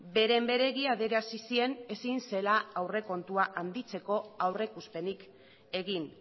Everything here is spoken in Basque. beren beregi adierazi zien ezin zela aurrekontua handitzeko aurrikuspenik egin